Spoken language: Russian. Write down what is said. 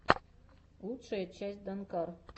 лучшая часть данкар